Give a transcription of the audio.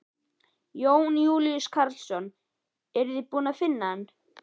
Jón Júlíus Karlsson: Eruð þið búnir að finna hann?